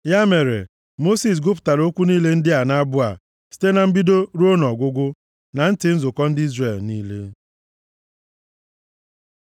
Ya mere, Mosis gụpụtara okwu niile dị nʼabụ a site na mbido ruo ọgwụgwụ na ntị nzukọ ndị Izrel niile.